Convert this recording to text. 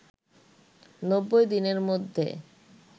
৯০ দিনের মধ্যে